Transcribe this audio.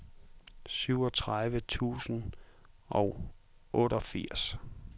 syvogtredive tusind og otteogfirs